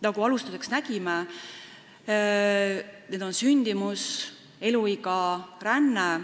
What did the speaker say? Nagu me algul nägime, need on sündimus, eluiga ja ränne.